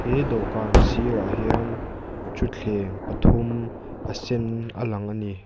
he dawhkan sirah hian thuthleng pathum a sen a lang a ni.